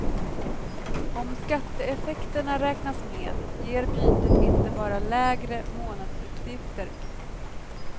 Om skatteeffekterna räknas med, ger bytet inte bara lägre månadsutgifter.